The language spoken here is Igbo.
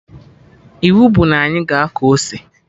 Iwu bụ na ị ga akọ ose!